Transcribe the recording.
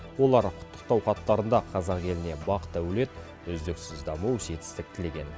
олар құттықтау хаттарында қазақ еліне бақ дәулет үздіксіз даму жетістік тілеген